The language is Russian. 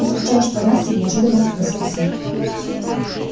ты скучаешь по насте неожиданно спросил сын